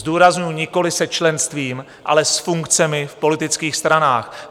Zdůrazňuji, nikoliv se členstvím, ale s funkcemi v politických stranách.